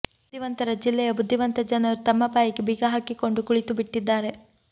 ಬುದ್ದಿವಂತರ ಜಿಲ್ಲೆಯ ಬುದ್ದಿವಂತ ಜನರು ತಮ್ಮ ಬಾಯಿಗೆ ಬೀಗ ಹಾಕಿಕೊಂಡು ಕುಳಿತುಬಿಟ್ಟಿದ್ದಾರೆ